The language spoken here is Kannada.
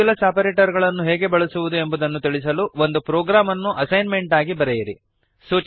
ಮಾಡ್ಯುಲಸ್ ಆಪರೇಟರ್ ಅನ್ನು ಹೇಗೆ ಬಳಸುವುದು ಎಂಬುದನ್ನು ತಿಳಿಸಲು ಒಂದು ಪ್ರೊಗ್ರಾಮ್ ಅನ್ನು ಅಸೈನ್ಮೆಂಟ್ ಆಗಿ ಬರೆಯಿರಿ